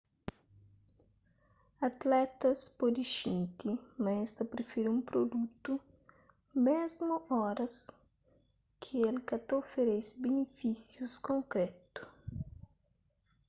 atletas pode xinti ma es ta prifiri un prudutu mésmu oras ki el ka ta oferese binifísius konkrétu